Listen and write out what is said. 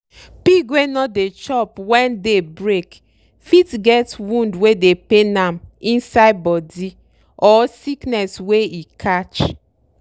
pig wey no dey chop wen day break fit get wound wey dey pain am inside body or sickness wey e catch.